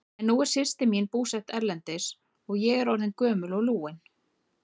En nú er systir mín búsett erlendis og ég orðin gömul og lúin.